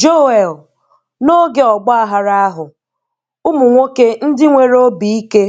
Joel: N'oge ọgbaaghara ahụ, ụmụ nwoke ndị nwere obi ike